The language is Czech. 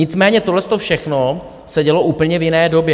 Nicméně tohleto všechno se dělo úplně v jiné době.